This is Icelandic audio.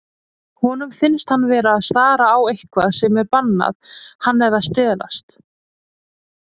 Honum finnst hann vera að stara á eitthvað sem er bannað, hann er að stelast.